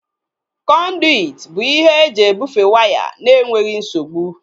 Kọnduit bụ ihe eji ebufee waya na-enweghị nsogbu